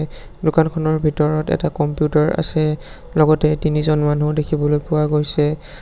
এ দোকানখনৰ ভিতৰত এটা কম্পিউটাৰ আছে লগতে তিনিজন মানুহ দেখিবলৈ পোৱা গৈছে।